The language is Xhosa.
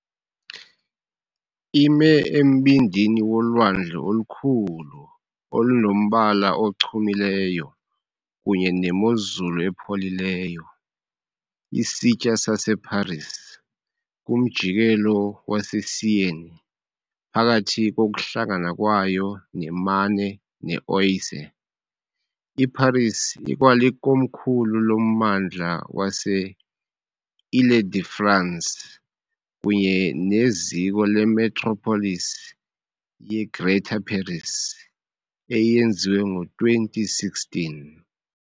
Ime embindini wolwandle olukhulu olunomhlaba ochumileyo kunye nemozulu epholileyo, isitya saseParis, kumjikelo weSeine, phakathi kokuhlangana kwayo neMarne neOise. IParis ikwalikomkhulu lommandla wase-Île-de-France kunye neziko lemetropolis ye-Greater Paris, eyenziwe ngo-2016.